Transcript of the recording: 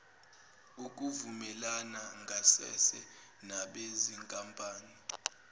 ukuvumelana ngasese nabezinkampani